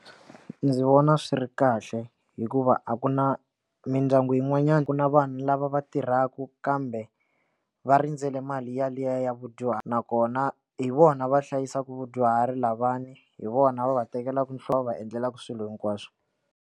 Ndzi vona swi ri kahle hikuva a ku na mindyangu yin'wanyani ku na vanhu lava va tirhaka kambe va rindzele mali ya liya ya vadyuhari nakona hi vona va hlayisaka vadyuhari lavawani hi vona va va tekelaka va thlela va endlelaka swilo hinkwaswo.